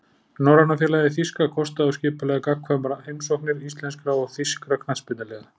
Norræna félagið þýska kostaði og skipulagði gagnkvæmar heimsóknir íslenskra og þýskra knattspyrnuliða.